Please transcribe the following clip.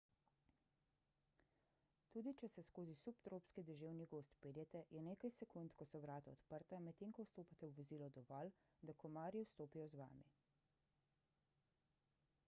tudi če se skozi subtropski deževni gozd peljete je nekaj sekund ko so vrata odprta medtem ko vstopate v vozilo dovolj da komarji vstopijo z vami